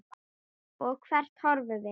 Og hvert horfum við?